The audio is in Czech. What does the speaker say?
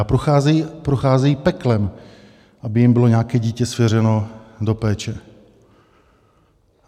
A procházejí peklem, aby jim bylo nějaké dítě svěřeno do péče.